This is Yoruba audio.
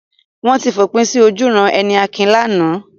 Wọ́n ti fòpin sí ojúuran-ẹni Akin lánàá.